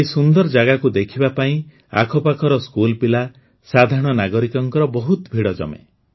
ଏହି ସୁନ୍ଦର ଜାଗାକୁ ଦେଖିବା ପାଇଁ ଆଖପାଖର ସ୍କୁଲପିଲା ସାଧାରଣ ନାଗରିକଙ୍କ ବହୁତ ଭିଡ଼ ଜମେ